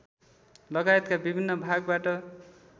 लगायतका विभिन्न भागबाट